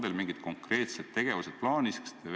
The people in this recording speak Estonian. On teil mingid konkreetsed tegevused plaanis?